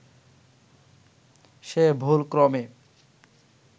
সে ভুলক্রমে